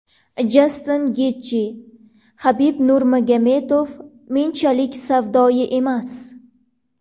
Jastin Getji: Habib Nurmagomedov menchalik savdoyi emas.